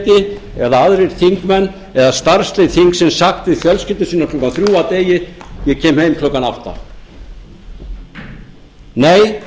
geti eða aðrir þingmenn eða starfslið þingsins sagt við fjölskyldu sína klukkan þrjú að degi ég kem heim klukkan átta nei